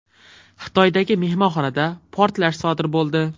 Xitoydagi mehmonxonada portlash sodir bo‘ldi.